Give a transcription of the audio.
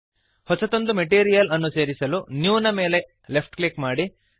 ಹೊಸದೊಂದು ಮೆಟೀರಿಯಲ್ ಅನ್ನು ಸೇರಿಸಲು ನ್ಯೂ ದ ಮೇಲೆ ಲೆಫ್ಟ್ ಕ್ಲಿಕ್ ಮಾಡಿರಿ